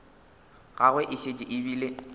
gagwe e šetše e bile